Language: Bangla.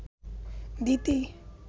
দিতি